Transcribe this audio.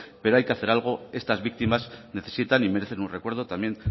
pero hay que hacer algo estas víctimas necesitan y merecen un recuerdo también